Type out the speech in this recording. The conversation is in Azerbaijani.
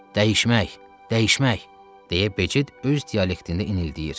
Dəyişmək, dəyişmək, deyə Becid öz dialektində dinildəyir.